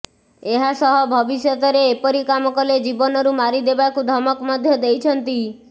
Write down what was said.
ଏହାସହ ଭବିଷ୍ୟତରେ ଏପରି କାମ କଲେ ଜୀବନରୁ ମାରିଦେବାକୁ ଧମକ ମଧ୍ୟ ଦେଇଛନ୍ତି